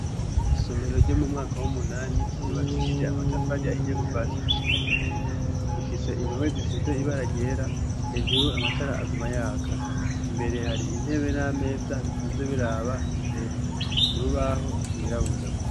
Isomero ryo mu mwaka w'umunani ryubakishije amatafari ahiye kuva hasi gushika hejuru ifise impome zisize ibara ryera hejuru amatara aguma yaka imbere hari intebe n'ameza bitonze biraba imbere kurubaho rwirabura.